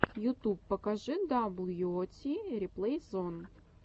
ютуб покажи дабл ю о ти реплей зон